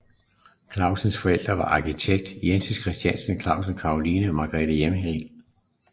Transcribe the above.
Clausens forældre var arkitekt Jens Christian Clausen og Caroline Margrethe Hjerrild